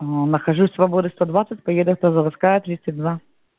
нахожусь свободы сто двадцать поеду автозаводская тридцать два